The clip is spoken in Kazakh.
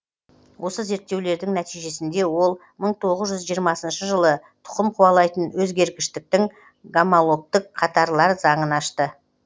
осы зерттеулердің нәтижесінде ол мың тоғыз жүз жиырмасыншы жылы тұқым қуалайтын өзгерткіштіктің гомологтік қатарлар заңын ашты